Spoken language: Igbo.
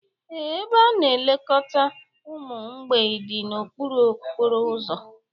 ee, ebe a na-elekọta ụmụ mgbei dị n'okpuru okporo ụzọ